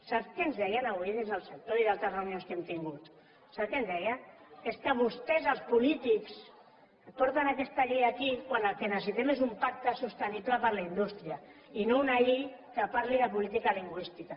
sap què ens deien avui des del sector i a d’altres reunions que hem tingut sap què em deien és que vostès els polítics porten aquesta llei aquí quan el que necessitem és un pacte sostenible per a la indústria i no una llei que parli de política lingüística